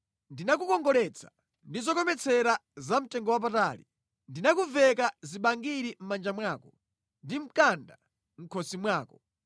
Ndinakukongoletsa ndi zokometsera zamtengowapatali: ndinakuveka zibangiri mʼmanja mwako ndi mkanda mʼkhosi mwako,